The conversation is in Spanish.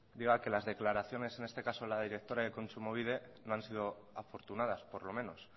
diga que las declaraciones en este caso de la directora de kontsumobide no han sido afortunadas por lo menos